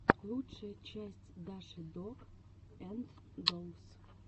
лучшая часть даши дог энд доллс